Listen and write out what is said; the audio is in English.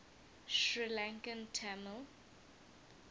sri lankan tamil